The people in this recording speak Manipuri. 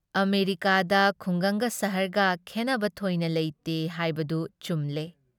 ꯑꯃꯦꯔꯤꯀꯥꯗ ꯈꯨꯡꯒꯪꯒ ꯁꯍꯔꯒ ꯈꯦꯟꯅꯕ ꯊꯣꯏꯅ ꯂꯩꯇꯦ ꯍꯥꯏꯕꯗꯨ ꯆꯨꯝꯂꯦ ꯫